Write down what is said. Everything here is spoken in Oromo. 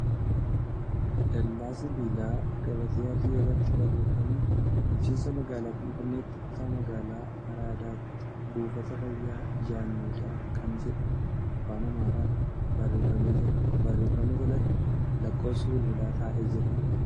Dallaa sibiilaa gabatee adii irratti barreeffamni ' Bulchiinsa Magaalaa Finfinneetti Kutaa Magaalaa Araadaatti Buufata Fayyaa Jaan Meedaa ' kan jedhu afaan Amaaraan barreeffamee jira. Barreeffama jalatti lakkoofsi bilbilaa taa'ee jira.